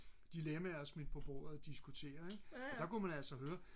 dilemmaer smidt på bordet diskutere ik og der kunne man altså høre